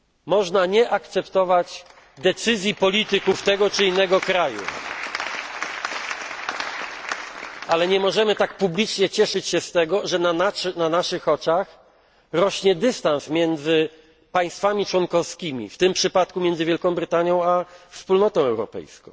Można nie akceptować decyzji polityków tego czy innego kraju, ale nie możemy tak publicznie cieszyć się z tego, że na naszych oczach rośnie dystans między państwami członkowskimi, w tym przypadku między Wielką Brytanią a Wspólnotą Europejską.